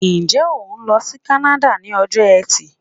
Ǹjẹ́ o ń lọ sí kánáda ni ọjọ eti